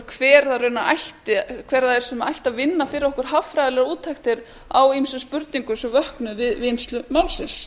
hver það er sem ætti að vinna fyrir okkur hagfræðilegar úttektir á ýmsum spurningum sem vöknuðu við vinnslu málsins